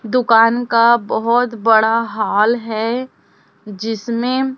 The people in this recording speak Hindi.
दुकान का बहोत बड़ा हॉल है जिसमें--